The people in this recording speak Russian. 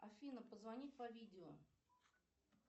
афина позвонить по видео